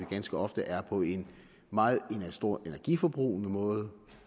ganske ofte er på en meget stor energiforbrugende måde